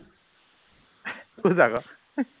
খোজ আকৌ